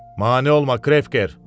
Mane olma, Krevker!